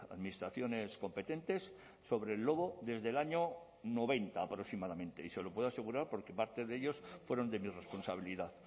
administraciones competentes sobre el lobo desde el año noventa aproximadamente y se lo puedo asegurar porque parte de ellos fueron de mi responsabilidad